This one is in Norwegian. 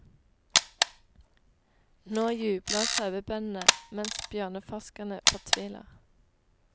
Nå jubler sauebøndene mens bjørneforskerne fortviler.